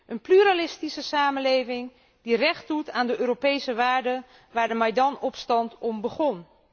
Een pluralistische samenleving, die recht doet aan de Europese waarden waar de Maidan opstand om begon.